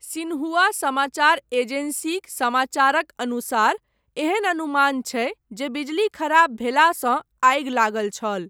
Xinhua समाचार एजेंसीक समाचारक अनुसार एहन अनुमान छै जे बिजली खराब भेलासँ आगि लागल छल।